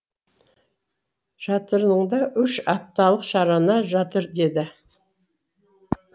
жатырыңда үш апталық шарана жатыр деді